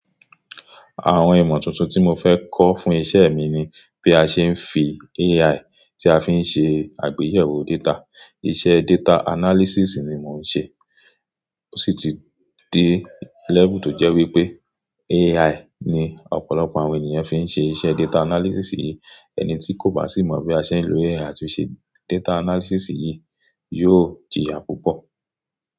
Àwọn ìmọ̀ tuntun tí mo fẹ́ kọ́ fún iṣẹ́ mi ni bí a ṣe ń fi AI tí a fi ń ṣe àgbéyẹ̀wò data. Iṣẹ́ data analysis ni mò ń ṣe, ó sì ti dé lẹ́bùn tó jẹ́ wípé AI ni ọ̀pọ̀lọpọ̀ àwọn ènìyàn fi ń ṣe iṣẹ́ data analysis yìí. Ẹni tí kò bá sì mọ bí a ṣe ń lo AI láti ṣe data analysis yìí, yóò jìyà púpọ̀.